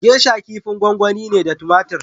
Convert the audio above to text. Geisha kifin gwangwani ne da tomatur.